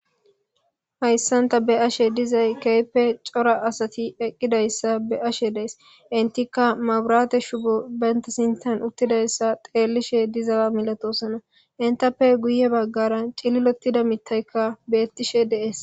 hayssan ta be'ashe dizay keepe cora asati eqqidayssa be'ashe de'ays , intikka maburate shubo benta sintan uttidayssa xeellishe dizawa milatosana intappe guye baggara cililotida mittaykka beettishe dees